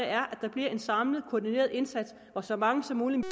er at der bliver en samlet koordineret indsats hvor så mange som muligt